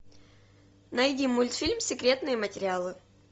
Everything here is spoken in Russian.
найди мультфильм секретные материалы